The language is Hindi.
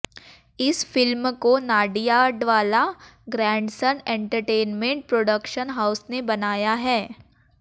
इस फ़िल्म को Nadiadwala grandson entertainment production house ने बनाया है